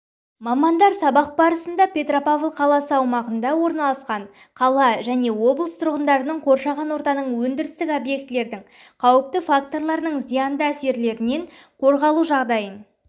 мамандар сабақ барысында петропавл қаласы аумағында орналасқан қала және облыс тұрғындарының қоршаған ортаның өндірістік объектілердің қауіпті факторларының зиянды әсерлерінен қорғалуы жағдайын